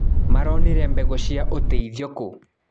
Maronire mbegũ cia ũteithio kũ.